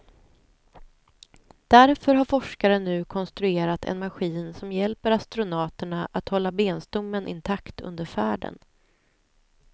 Därför har forskare nu konstruerat en maskin som hjälper astronauterna att hålla benstommen intakt under färden.